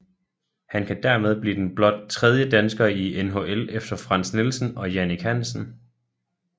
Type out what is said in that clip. Han kan dermed blive den blot tredje dansker i NHL efter Frans Nielsen og Jannik Hansen